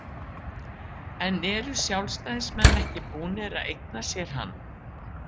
En eru Sjálfstæðismenn ekki búnir að eigna sér hann?